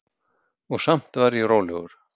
Og samt var ég rólegur.